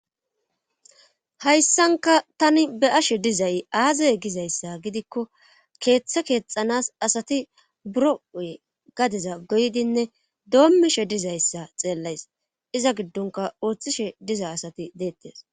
hayssanka tani be'ashe dizay aazaye gizayssa gidikko keeththe keexanas asati buro7oy gadeza goydinne doommishe dizayssa xeellays iza giddonka ooththishe diza asati deettes